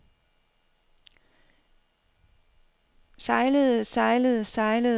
sejlede sejlede sejlede